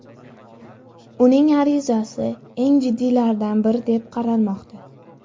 Uning arizasi eng jiddiylaridan biri deb qaralmoqda.